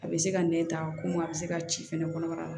A bɛ se ka nɛn ta komi a bɛ se ka ci fɛnɛ kɔnɔbara la